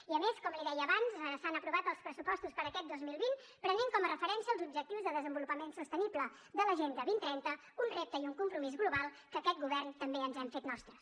i a més com li deia abans s’han aprovat els pressupostos per a aquest dos mil vint prenent com a referència els objectius de desenvolupament sostenible de l’agenda dos mil trenta un repte i un compromís global que aquest govern també ens hem fet nostres